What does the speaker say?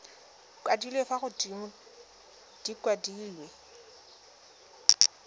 kwadilwe fa godimo di kwadilwe